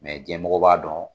cnɛmɔgɔ b'a dɔn